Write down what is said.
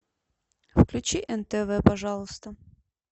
включи нтв пожалуйста